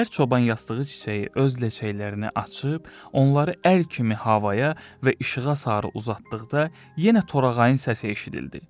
Səhər çoban yastığı çiçəyi öz ləçəklərini açıb, onları əl kimi havaya və işığa sarı uzatdıqda yenə torağayın səsi eşidildi.